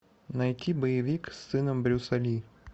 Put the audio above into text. найти боевик с сыном брюса ли